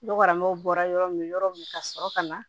Nɔgɔramaw bɔra yɔrɔ min yɔrɔ min ka sɔrɔ ka na